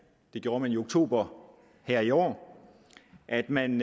det gjorde man i oktober her i år at man